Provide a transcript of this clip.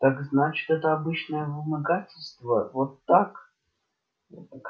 так значит это обычное вымогательство вот как